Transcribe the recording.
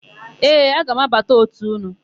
Ee, aga m abata òtù ụnụ.